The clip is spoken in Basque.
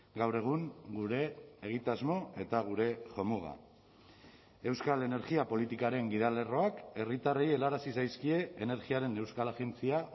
gaur egun gure egitasmo eta gure jomuga euskal energia politikaren gidalerroak herritarrei helarazi zaizkie energiaren euskal agentzia